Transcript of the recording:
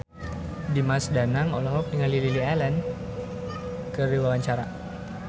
Dimas Danang olohok ningali Lily Allen keur diwawancara